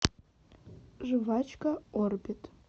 жвачка орбит